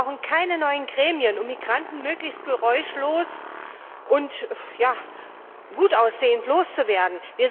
Wir brauchen keine neuen Gremien, um Migranten möglichst geräuschlos und gut aussehend loszuwerden.